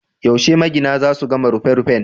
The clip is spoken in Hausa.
Yaushe magina za su gama rufin rufin?